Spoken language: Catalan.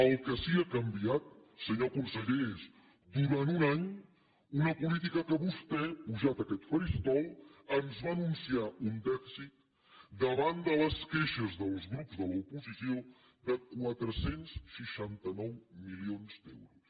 el que sí que ha canviat senyor conseller és durant un any una política amb què vostè pujat a aquest faristol ens va anunciar un dèficit davant de les queixes dels grups de l’oposició de quatre cents i seixanta nou milions d’euros